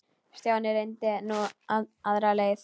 Stjáni reyndi nú aðra leið.